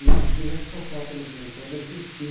E eu que fui responsável pelos dominicanos de assistir.